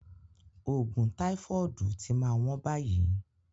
ògùn taifọọdu ti ma wọ́n bayii